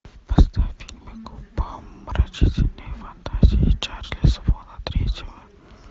поставь фильм умопомрачительные фантазии чарли свона третьего